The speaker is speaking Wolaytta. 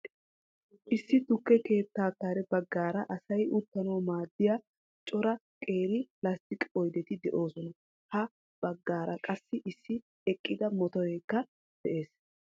Issi tukke keettaa kare baggaara asay uttanawu maaddiya cora qeeri lasttiqe oydeti de'oosona. Ha baggaara qassi issi eqqida motoreekja dees